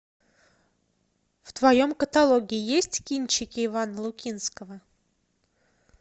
в твоем каталоге есть кинчики ивана лукинского